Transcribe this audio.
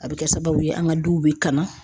A bɛ kɛ sababu ye an ka duw bɛ kamn.